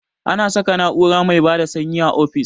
Ana saka na'ura mai bada sanyi a ofis